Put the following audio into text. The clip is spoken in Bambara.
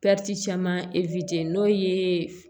caman n'o ye